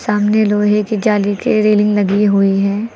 सामने लोहे के जाली के रेलिंग लगी हुई है।